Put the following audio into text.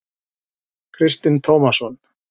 Kristinn Tómasson.